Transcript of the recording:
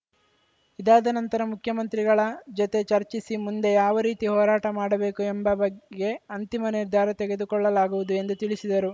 ಇದಾದ ನಂತರ ಮುಖ್ಯಮಂತ್ರಿಗಳ ಜೊತೆ ಚರ್ಚಿಸಿ ಮುಂದೆ ಯಾವ ರೀತಿ ಹೋರಾಟ ಮಾಡಬೇಕು ಎಂಬ ಬಗ್ಗೆ ಅಂತಿಮ ನಿರ್ಧಾರ ತೆಗೆದುಕೊಳ್ಳಲಾಗುವುದು ಎಂದು ತಿಳಿಸಿದರು